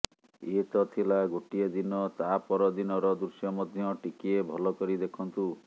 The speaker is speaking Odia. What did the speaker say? ଏ ତଥିଲା ଗୋଟିଏ ଦିନ ତା ପର ଦିନର ଦୃଶ୍ୟ ମଧ୍ୟ ଟିକିଏ ଭଲ କରି ଦେଖନ୍ତୁ